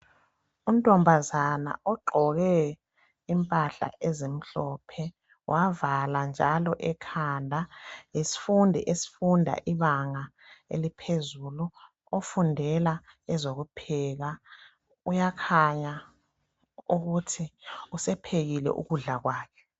Untombazana ogqoke impahla ezimhlophe wavala njalo ekhanda yisfundi esfunda ibanga eliphezulu ofundela ezokupheka. Uyakhuya ukuthi usephekile ukudla kwakhe.